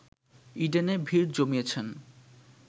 ইডেনে ভিড় জমিয়েছেন